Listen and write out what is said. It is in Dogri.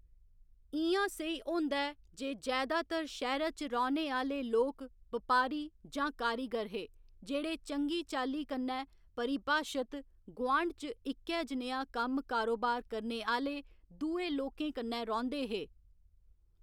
इ'यां सेही होंदा ऐ जे जैदातर शैह्‌रा च रौह्‌ने आह्‌ले लोक बपारी जां कारीगर हे, जेह्‌ड़े चंगी चाल्ली कन्नै परिभाशत गुआंढ च इक्कै जनेहा कम्म कारोबार करने आह्‌ले दुए लोकें कन्नै रौह्ंदे हे।